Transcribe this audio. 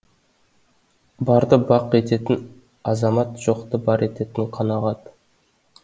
барды бақ ететін азамат жоқты бар ететін қанағат